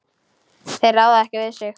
Þeir ráða ekki við sig.